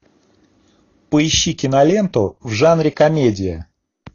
поищи киноленту в жанре комедия